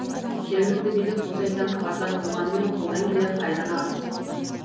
жергілікті билік бұл жайттан хабардар болғанымен қолдан келер қайраны аз